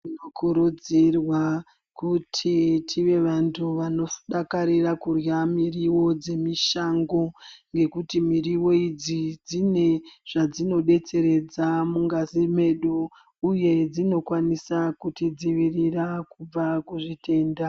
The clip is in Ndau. Tinokurudzirwa kuti tive vantu vanodakarira kudya miriwo dzemushango nekuti miriwo idzi dzine zvadzinodetseredza mungazi medu. Uye dzinokwanisa kutidzivirira kubva muzvitenda.